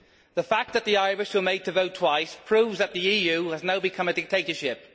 The fact that the Irish were made to vote twice proves that the EU has now become a dictatorship.